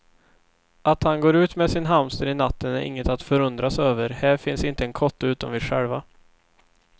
Att han går ut med sin hamster i natten är inget att förundras över, här finns inte en kotte utom vi själva.